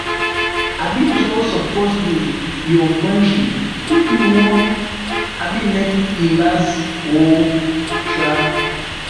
um trust suppose dey your friendship if you wan um make e last oo um